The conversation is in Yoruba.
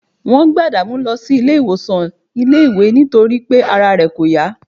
wọ́n gbé adamu lọ sí ilé ìwòsàn iléèwé nítorí pé ara rẹ̀ kò yá